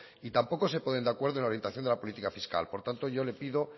y tampoco se ponen de acuerdo en la orientación de la política fiscal por tanto yo le pido